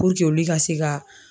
joli ka se ka